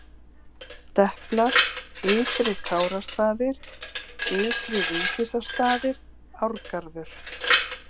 Deplar, Ytri-Kárastaðir, Ytri-Vigdísarstaðir, Árgarður